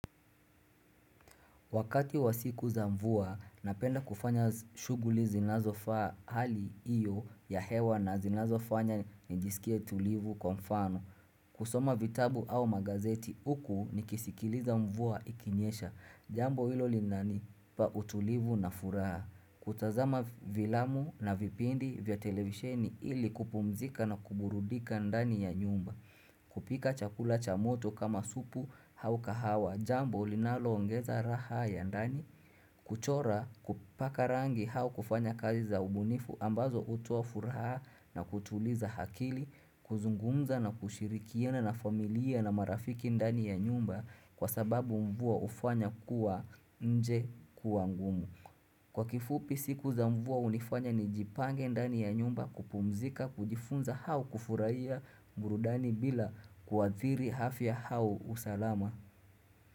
Wakati wa siku za mvua, napenda kufanya shughuli zinazofaa hali iyo ya hewa na zinazofanya nijisikie tulivu kwa mfano. Kusoma vitabu au magazeti huku nikisikiliza mvua ikinyesha jambo hilo linanipa utulivu na furaha. Kutazama vilamu na vipindi vya televisheni ili kupumzika na kuburudika ndani ya nyumba. Kupika chakula cha moto kama supu au kahawa jambo linaloongeza raha ya ndani kuchora kupaka rangi hawa kufanya kazi za ubunifu ambazo utuafuraha na kutuliza hakili kuzungumza na kushirikiane na familia na marafiki ndani ya nyumba kwa sababu mvua hufanya kuwa nje kuangumu. Kwa kifupi siku za mvua hunifanya nijipange ndani ya nyumba kupumzika, kujifunza au kufurahia burudani bila kuathiri afya au usalama.